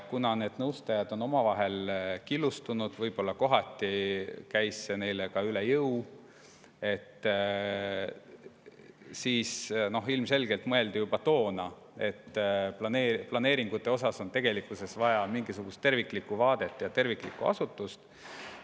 Kuna need nõustajad olid omavahel killustunud ja võib-olla kohati käis see töö neile ka üle jõu, siis ilmselgelt mõeldi juba toona, et planeeringute vallas on tegelikult vaja mingisugust terviklikku vaadet ja asutust.